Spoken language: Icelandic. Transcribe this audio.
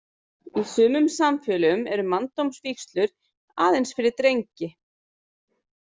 Í sumum samfélögum eru manndómsvígslur aðeins fyrir drengi.